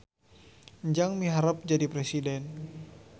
Enjang miharep jadi presiden